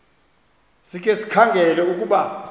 sikhe sikhangele ukuba